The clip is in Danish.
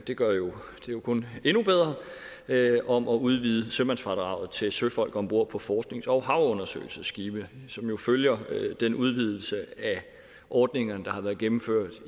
det gør det jo kun endnu bedre om at udvide sømandsfradraget til søfolk om bord på forsknings og havundersøgelsesskibe som følger den udvidelse af ordningerne der har været gennemført